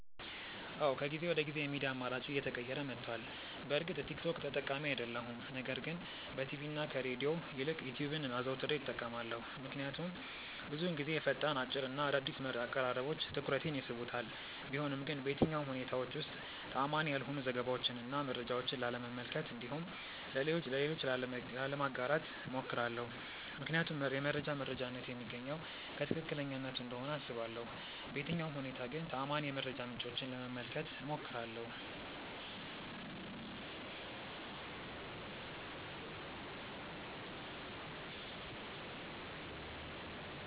አዎ ከጊዜ ወደ ጊዜ የሚዲያ አማራጬ እየተቀየረ መቷል። በእርግጥ ቲክ ቶክ ተጠቃሚ አይደለሁም ነገር ግን በቲቪ እና ከሬድዮ ይልቅ ዩትዩብን አዘውትሬ እጠቀማለሁ። ምክንያቱም ብዙውን ጊዜ ፈጣን፣ አጭር እና አዳዲስ አቀራረቦች ትኩረቴን ይስቡታል። ቢሆንም ግን በየትኛውም ሁኔታዎች ውስጥ ተአማኒ ያልሆኑ ዘገባዎችን እና መረጃዎችን ላለመመልከት እንዲሁም ለሌሎች ላለማጋራት እሞክራለሁ። ምክንያቱም የመረጃ መረጃነቱ የሚገኘው ከትክክለኛነቱ እንደሆነ አስባለሁ። በየትኛውም ሁኔታ ግን ተአማኒ የመረጃ ምንጮችን ለመመልከት እሞክራለሁ።